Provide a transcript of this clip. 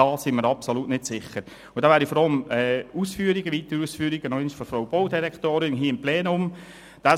Diesbezüglich wäre ich über weitere Ausführungen der Baudirektorin hier im Plenum froh.